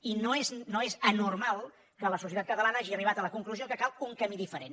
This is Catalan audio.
i no és anormal que la societat catalana hagi arribat a la conclusió que cal un camí diferent